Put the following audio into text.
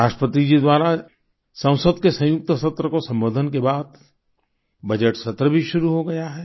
राष्ट्रपति जी द्वारा संसद के संयुक्त सत्र को सम्बोधन के बाद बजट सत्र भी शुरू हो गया है